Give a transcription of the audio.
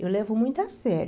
Eu levo muito a sério.